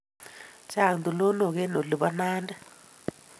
Chang' tulonok eng' olin po Nandi.